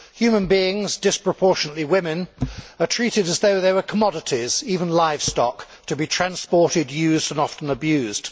Human beings, disproportionately women, are treated as though they were commodities, even livestock, to be transported, used and often abused.